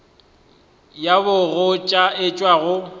ya bogoja e tšwa go